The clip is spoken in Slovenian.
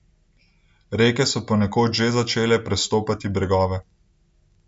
Reke so ponekod že začele prestopati bregove.